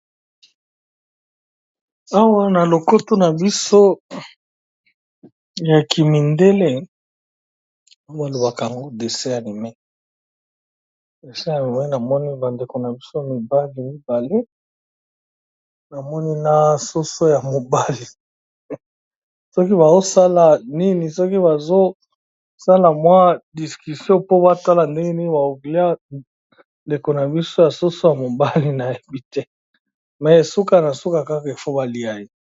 Awa na lokoto na biso ya kimindele balobaka yango dessin animé ya mima d amoni bandeko na biso mibali be soso ya mobali soki bazosala nini soki bazosala mwa discussion po batala ndenge nini ba bakoliya ndeko na biso ya soso ya mobali nayebi te mais suka suka kaka il faut baliya ye.